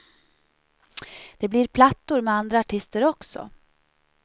Det blir plattor med andra artister också.